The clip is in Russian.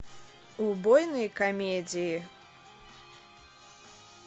убойные комедии